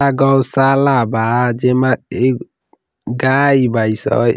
अ गौशाला बा। जेमे एक गाये बाई स।